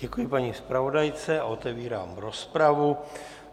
Děkuji paní zpravodajce a otevírám rozpravu.